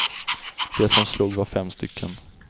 De som slog var fem stycken.